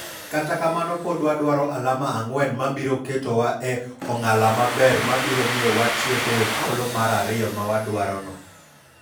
Kata kamano pod wadwaro alama ang'wen mabiro ketowa e ong'ala maber mabiro miyo watieki e thuolo mar ariyomawadwaro no.